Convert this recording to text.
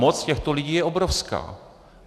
Moc těchto lidí je obrovská.